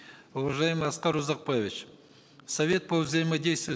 уважаемый аскар узакбаевич совет по взаимодействию